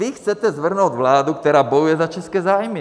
Vy chcete svrhnout vládu, která bojuje za české zájmy.